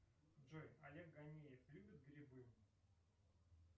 джой олег ганеев любит грибы